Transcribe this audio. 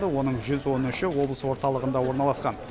оның жүз он үші облыс орталығында орналасқан